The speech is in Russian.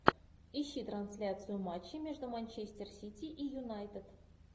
ищи трансляцию матча между манчестер сити и юнайтед